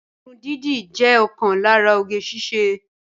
Irun dídì jẹ́ ọ̀kan lára oge síṣe